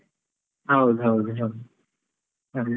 ಹೌದ್ ಹೌದ್ ಹೌದು ಅದೆ.